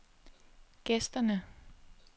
gæsterne